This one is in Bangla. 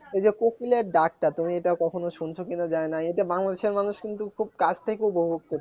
এই যে কোকিলের ডাকটা তুমি এটা কখনো শুনছো কিনা জানি না এটা বাংলাদেশের মানুষ কিন্তু খুব কাছ থেকে উপভোগ করছে